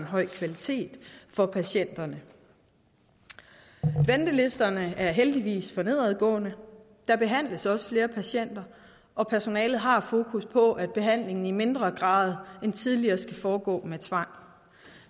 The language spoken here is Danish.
høj kvalitet for patienterne ventelisterne er heldigvis for nedadgående der behandles flere patienter og personalet har fokus på at behandlingen i mindre grad end tidligere skal foregå med tvang